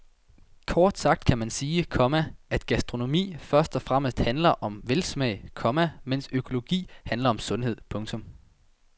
Kort kan man sige, komma at gastronomi først og fremmest handler om velsmag, komma mens økologi handler om sundhed. punktum